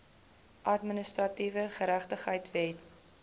administratiewe geregtigheid wet